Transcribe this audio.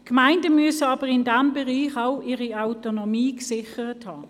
Die Gemeinden müssen aber in diesem Bereich auch ihre Autonomie gesichert haben.